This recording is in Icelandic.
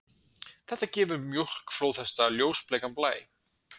Þetta gefur mjólk flóðhesta ljósbleikan blæ.